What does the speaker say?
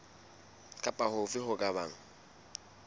kapa hofe ho ka bang